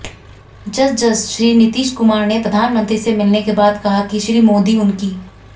जसजस श्री नीतीश कुमार ने प्रधानमंत्री से मिलने के बाद कहा कि श्री मोदी उनकी